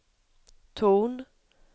ton